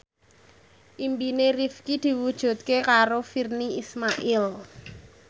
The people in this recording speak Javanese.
impine Rifqi diwujudke karo Virnie Ismail